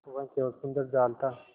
वह केवल सुंदर जाल था